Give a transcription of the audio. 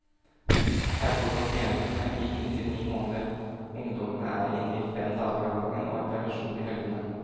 Her bor pasientene i inntil ni måneder, ungdommene er inne fem dager av gangen og har permisjon i helgene.